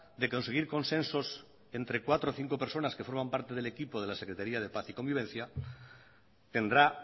de conseguir consensos entre cuatro o cinco personas que formas parte del equipo de la secretaria de paz y convivencia tendrá